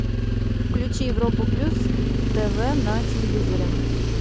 включи европу плюс тв на телевизоре